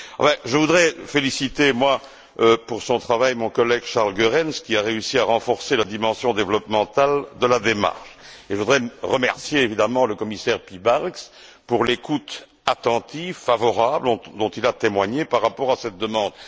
Moi, je voudrais féliciter pour son travail mon collègue, Charles Goerens, qui a réussi à renforcer la dimension de développement de la démarche et je voudrais remercier évidemment le commissaire Piebalgs pour l'écoute attentive, favorable, dont il a témoigné par rapport à cette demande.